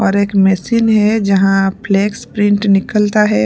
और एक मशीन है जहाँ फ्लेक्स प्रिंट निकलता है।